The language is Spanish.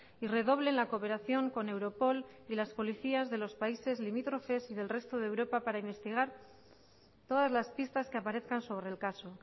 y redoblen la cooperación con europol y las policías de los países limítrofes y del resto de europa para investigar todas las pistas que aparezcan sobre el caso